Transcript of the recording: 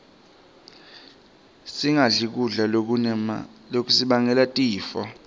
singadli kudla lokutasibangela tifo